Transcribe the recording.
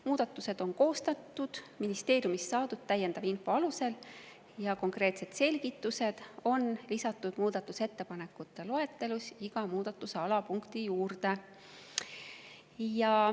Muudatused on koostatud ministeeriumist saadud täiendava info alusel ja konkreetsed selgitused on lisatud muudatusettepanekute loetelus iga muudatuse alapunkti juurde.